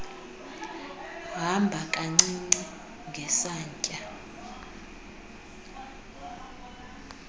hamba kancinci ngesantya